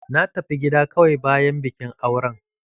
Na tafi gida kawai bayan bikin auren